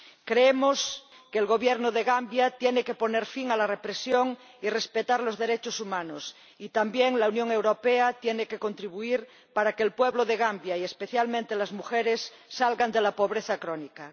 Creemos que el Gobierno de Gambia tiene que poner fin a la represión y respetar los derechos humanos, y así lo exigimos, y también que la Unión Europea tiene que contribuir para que el pueblo de Gambia y especialmente las mujeres salgan de la pobreza crónica.